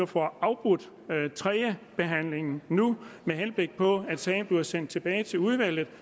får afbrudt tredjebehandlingen nu med henblik på at sagen bliver sendt tilbage til udvalget